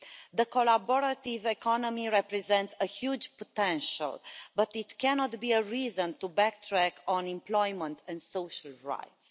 The collaborative economy represents a huge potential, but it cannot be a reason to backtrack on employment and social rights.